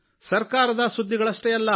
ಸರಕಾರದ ಸುದ್ದಿಗಳಷ್ಟೇ ಅಲ್ಲ